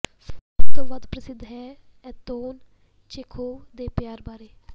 ਸਭ ਤੋਂ ਵੱਧ ਪ੍ਰਸਿੱਧ ਹੈ ਐਂਤੌਨ ਚੇਖੋਵ ਦੇ ਪਿਆਰ ਬਾਰੇ